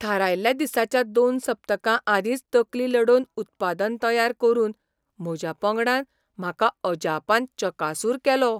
थारायल्ल्या दिसाच्या दोन सप्तकां आदींच तकली लडोवन उत्पादन तयार करून म्हज्या पंगडान म्हाका अजापान चकासूर केलो.